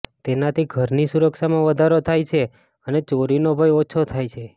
તેનાથી ઘરની સુરક્ષામાં વધારો થાય છે અને ચોરીનો ભય ઓછો થાય છે